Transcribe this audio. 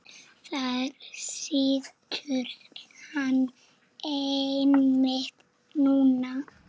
Þar situr hann einmitt núna.